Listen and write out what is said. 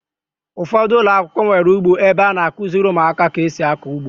Ụfọdụ ụlọakwụkwọ nwere ugbo ebe a na-akụziri ụmụaka ka esi akọ ihe.